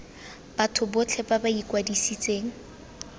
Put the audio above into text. batho botlhe ba ba ikwadisitseng